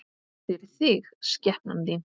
FYRIR ÞIG, SKEPNAN ÞÍN!